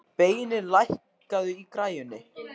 Beinir, lækkaðu í græjunum.